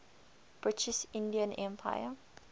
british indian empire